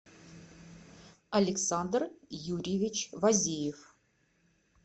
александр юрьевич вазиев